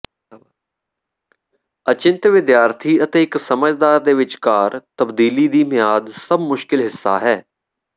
ਅਚਿੰਤ ਵਿਦਿਆਰਥੀ ਅਤੇ ਇੱਕ ਸਮਝਦਾਰ ਦੇ ਵਿਚਕਾਰ ਤਬਦੀਲੀ ਦੀ ਿਮਆਦ ਸਭ ਮੁਸ਼ਕਲ ਹਿੱਸਾ ਹੈ